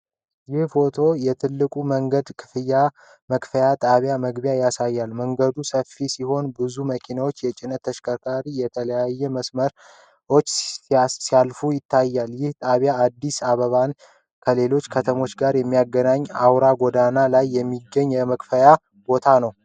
ይህ ፎቶ የትልቁ የመንገድ ክፍያ መክፈያ ጣቢያ መግቢያን ያሳያል። መንገዱ ሰፊ ሲሆን፣ ብዙ መኪኖችና የጭነት ተሽከርካሪዎች በተለያዩ መስመሮች ሲያልፉ ይታያሉ። ይህ ጣቢያ አዲስ አበባን ከሌሎች ከተሞች ጋር በሚያገናኘው አውራ ጎዳና ላይ የሚገኝ የመክፈያ ቦታ ነው።